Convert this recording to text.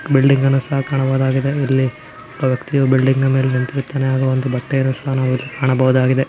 ಬಿಲ್ಡಿಂಗ್ಅನ್ನು ಸಹ ಕಾಣಬಹುದಾಗಿದೆ ಇಲ್ಲಿ ಒಬ್ಬ ವ್ಯಕ್ತಿಯು ಬಿಲ್ಡಿಂಗ್ ಮೇಲೆ ನಿಂತಿರುತ್ತಾನೆ ಹಾಗು ಒಂದು ಬಟ್ಟೆಯನ್ನು ಸಹ ನಾವು ಇಲ್ಲಿ ಕಾಣಬಹುದಾಗಿದೆ.